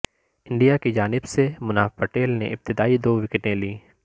India کی جانب سے مناف پٹیل نے ابتدائی دو وکٹیں لیں